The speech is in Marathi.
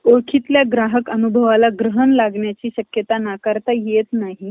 ओळखीतल्या ग्राहक अनुभवाला ग्रहण लागण्याची शकयता नाकारता येत नाही .